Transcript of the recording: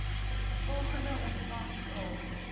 volgende ontvang saam